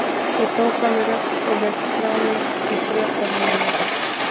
Ég tók á mig rögg og lét skrá mig í Bretavinnuna.